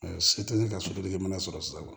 Se tɛ ne ka soden mana sɔrɔ sisan wa